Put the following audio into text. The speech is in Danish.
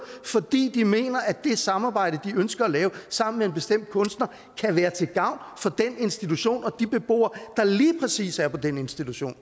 fordi de mener at det samarbejde de ønsker at lave sammen med en bestemt kunstner kan være til gavn for den institution og de beboere der lige præcis er på den institution